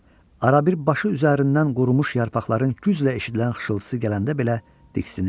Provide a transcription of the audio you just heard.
Arabir başı üzərindən qurumuş yarpaqların güclə eşidilən xışıltısı gələndə belə diksinirdi.